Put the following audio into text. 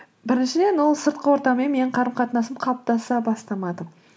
біріншіден ол сыртқы ортамен менің қарым қатынасым қалыптаса бастамады